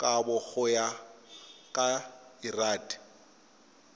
kabo go ya ka lrad